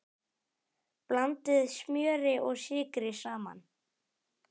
Blandið smjöri og sykri saman.